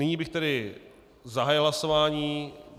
Nyní bych tedy zahájil hlasování.